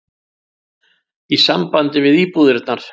í sambandi við íbúðirnar.